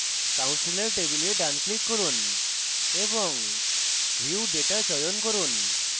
counselor table ডান click করুন এবং view data চয়ন করুন